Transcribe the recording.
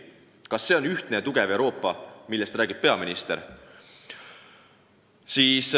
Kas see on ühtne ja tugev Euroopa, millest räägib peaminister?